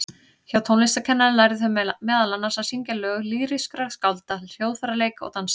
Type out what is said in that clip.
Hjá tónlistarkennara lærðu þau meðal annars að syngja lög lýrískra skálda, hljóðfæraleik og dans.